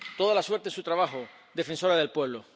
Toda la suerte en su trabajo, defensora del pueblo.